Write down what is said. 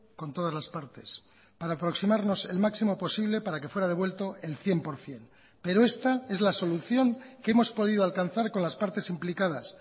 con todas las partes para aproximarnos el máximo posible para que fuera devuelto el cien por ciento pero esta es la solución que hemos podido alcanzar con las partes implicadas